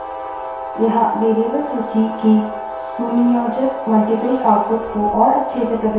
सूची के माध्यम से स्थानांतरित होने के लिए enter दबायें बाहर आने के लिए q क्यू दबायें